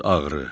Adsız ağrı.